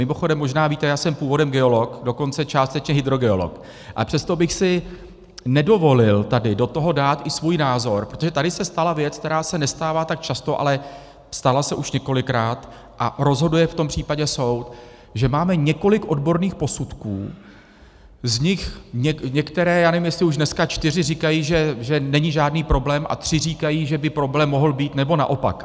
Mimochodem možná víte, já jsem původem geolog, dokonce částečně hydrogeolog, a přesto bych si nedovolil tady do toho dát i svůj názor, protože tady se stala věc, která se nestává tak často, ale stala se už několikrát a rozhoduje v tom případě soud, že máme několik odborných posudků, z nich některé - já nevím, jestli už dneska čtyři - říkají, že není žádný problém, a tři říkají, že by problém mohl být, nebo naopak.